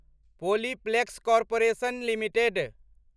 Polyplex Corporation limited